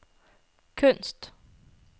kunst